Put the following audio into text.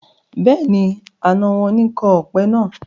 Bẹ́ẹ̀ni, àná wọn ni kọ́ ọpẹ náà.